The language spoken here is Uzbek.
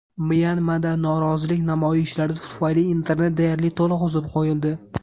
Myanmada norozilik namoyishlari tufayli internet deyarli to‘liq uzib qo‘yildi.